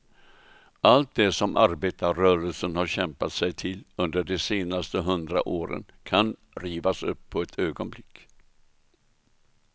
Allt det som arbetarrörelsen har kämpat sig till under de senaste hundra åren kan rivas upp på ett ögonblick.